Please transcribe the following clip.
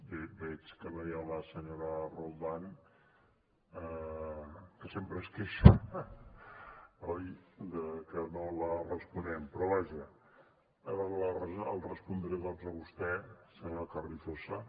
veig que no hi ha la senyora roldán que sempre es queixa oi de que no li responem però vaja li respondré doncs a vostè senyor carrizosa